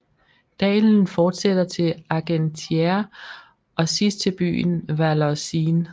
Dalen fortsætter til Argentiére og sidst til byen Vallorcine